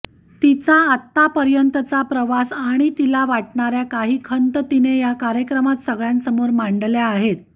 तिचा आतापर्यंतचा प्रवास आणि तिला वाटणाऱ्या काही खंत तिने या कार्यक्रमात सगळ्यांसमोर मांडल्या आहेत